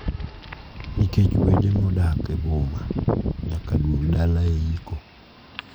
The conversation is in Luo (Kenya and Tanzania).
Nikech wede ma odak e boma nyaka duog dala e iko.